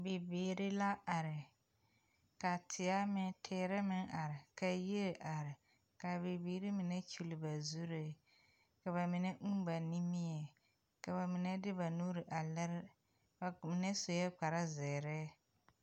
Dokogro naŋ biŋ nugɔɔ ane nudoloŋ ka pɛn ayi kyuɔɔ wa sige teɛ a waa buluu ka a daŋkyine waa pilaa ka fotore a mare.